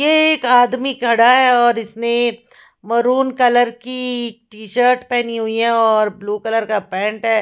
ये एक आदमी खड़ा है और इसने मैरून कलर की टी शर्ट पहनी हुई है और ब्लू कलर का पैंट है।